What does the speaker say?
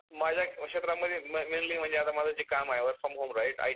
माझ्या क्षेत्रांमध्ये mainly माझं जे काम आहे ते work from home आहे. Right.